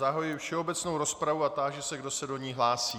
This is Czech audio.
Zahajuji všeobecnou rozpravu a táži se, kdo se do ní hlásí.